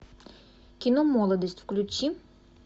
кино молодость включи